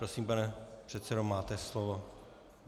Prosím, pane předsedo, máte slovo.